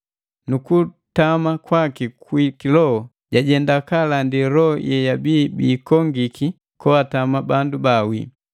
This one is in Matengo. Nukutama kwaki kwi kiloho, jajenda kaalandi loho yeyabia biikongiki koatama bandu bawii.